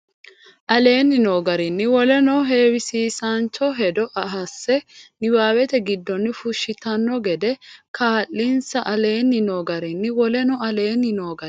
aleenni noo garinni woleno heewisiisaancho hedo hasse niwaawete giddonni fushshitanno gede kaa linsa aleenni noo garinni woleno aleenni noo garinni.